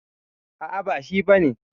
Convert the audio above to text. A'a ba shi bane.